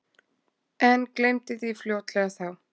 En gleymdi því fljótlega þá.